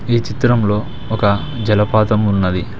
ఈ చిత్రంలో ఒక జలపాతం ఉన్నది.